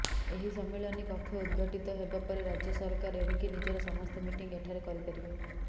ଏହି ସମ୍ମିଳନୀ କକ୍ଷ ଉଦଘାଟିତ ହେବା ପରେ ରାଜ୍ୟ ସରକାର ଏଣିକି ନିଜର ସମସ୍ତ ମିଟିଂ ଏଠାରେ କରିପାରିବେ